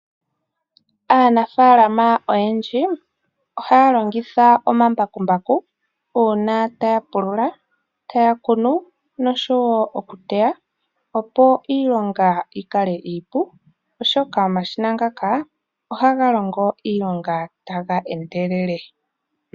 Aanafalama oyendji ohaya longitha omambakumbaku uunà taya pulula, taya kunu nenge okuteya, opo iilonga yikale iipu oshoka omashina ngaka ohaga longo iilonga taga endelele.